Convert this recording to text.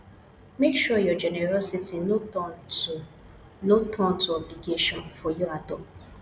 make sure your generosity no turn to no turn to obligation for you at all